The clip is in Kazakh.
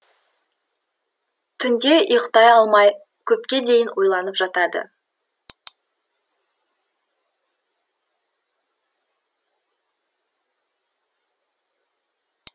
түнде ұйықтай алмай көпке дейін ойланып жатады